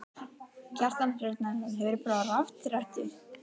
Kjartan Hreinn Njálsson: Hefur þú prófað rafrettu?